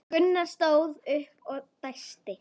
Gunnar stóð upp og dæsti.